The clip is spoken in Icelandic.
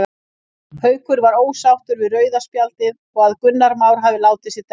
Haukur var ósáttur við rauða spjaldið og að Gunnar Már hafi látið sig detta.